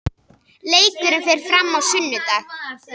Leikurinn fer fram á sunnudag.